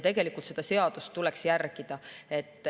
Seda seadust tuleks järgida.